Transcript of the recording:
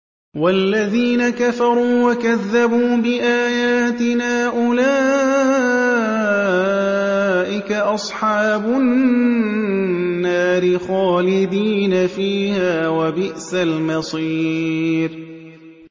وَالَّذِينَ كَفَرُوا وَكَذَّبُوا بِآيَاتِنَا أُولَٰئِكَ أَصْحَابُ النَّارِ خَالِدِينَ فِيهَا ۖ وَبِئْسَ الْمَصِيرُ